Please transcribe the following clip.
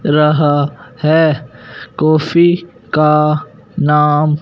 रहा है काफी का नाम--